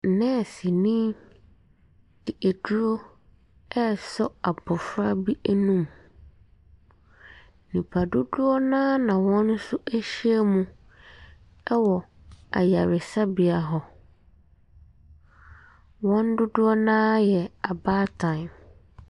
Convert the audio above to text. Nɛɛseni de aduro resɔ abɔfra bi anum. Nipadodoɔ no ara na wɔn nso ahyia mu wɔ ayaresabea hɔ. Wɔn dodoɔ no ara yɛ abaatan.